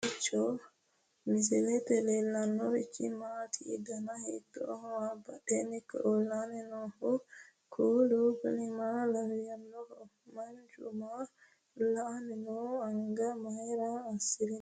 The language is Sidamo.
kowiicho misilete leellanorichi maati ? dana hiittooho ?abadhhenni ikko uulla noohu kuulu kuni maa lawannoho? manchu maa la'anni nooho anga mayra assirinnote